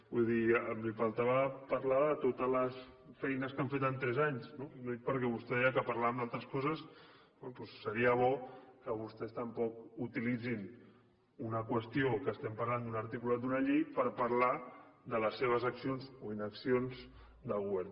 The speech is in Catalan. vull dir li faltava parlar de totes les feines que han fet en tres anys no ho dic perquè vostè ja que parlava d’altres coses seria bo que vostès tampoc utilitzin una qüestió que parlem d’un articulat d’una llei per parlar de les seves accions o inaccions del govern